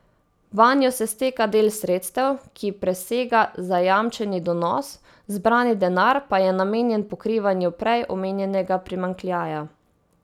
Vanjo se steka del sredstev, ki presega zajamčeni donos, zbrani denar pa je namenjen pokrivanju prej omenjenega primanjkljaja.